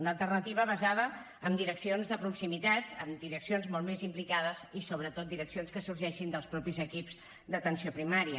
una alternativa basada en direccions de proximitat en direccions molt més implicades i sobretot direccions que sorgeixin dels mateixos equips d’atenció primària